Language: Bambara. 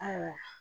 Awɔ